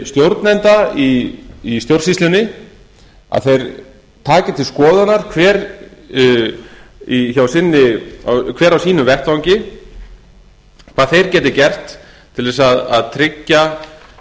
stjórnenda í stjórnsýslunni að þeir taki til skoðunar hver á sínum vettvangi hvað þeir geti gert til að tryggja